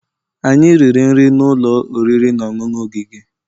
Anyị riri nri n'ụlọ oriri na ọṅụṅụ ogige